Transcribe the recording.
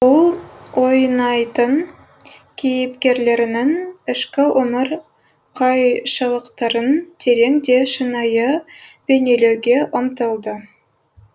ол ойнайтын кейіпкерлерінің ішкі өмір қайшылықтарын терең де шынайы бейнелеуге ұмтылды